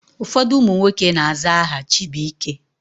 Ụfọdụ ụmụ nwoke na-aza aha Chibuike.